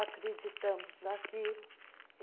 Acreditamos naquilo.